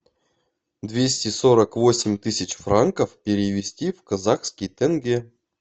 двести сорок восемь тысяч франков перевести в казахский тенге